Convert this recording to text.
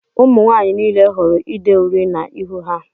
Ụmụnwanyị niile hụrụ ide uri na -ihu ha.